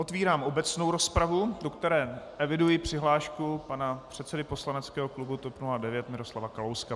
Otevírám obecnou rozpravu, do které eviduji přihlášku pana předsedy poslaneckého klubu TOP 09 Miroslava Kalouska.